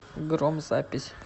гром запись